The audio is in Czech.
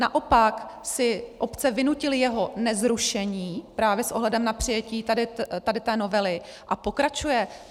Naopak si obce vynutily jeho nezrušení právě s ohledem na přijetí tady té novely a pokračuje.